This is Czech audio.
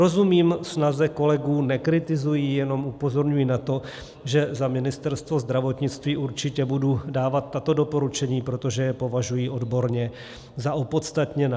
Rozumím snaze kolegů, nekritizuji, jenom upozorňuji na to, že za Ministerstvo zdravotnictví určitě budu dávat tato doporučení, protože je považuji odborně za opodstatněná.